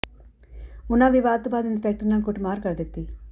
ਉਨ੍ਹਾਂ ਵਿਵਾਦ ਤੋਂ ਬਾਅਦ ਇੰਸਪੈਕਟਰ ਨਾਲ ਕੁੱਟਮਾਰ ਕਰ ਦਿੱਤੀ